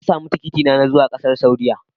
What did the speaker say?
Na sami tikitina na zuwa ƙasar Saudiyya.